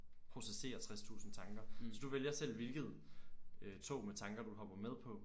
Processere 60 tusind tanker så du vælger selv hvilket øh tog med tanker du så hopper med på